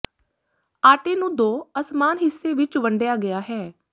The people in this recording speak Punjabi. ਆਟੇ ਨੂੰ ਦੋ ਅਸਮਾਨ ਹਿੱਸੇ ਵਿਚ ਵੰਡਿਆ ਗਿਆ ਹੈ